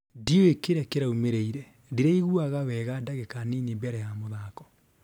ndiũe kĩria kĩraũmĩrire, ndiraigũaga wega ndagika nini mbere ya mũthako.